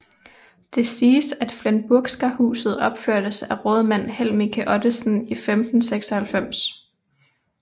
Det siges at Flenburgska huset opførtes af rådmand Helmicke Ottesen i 1596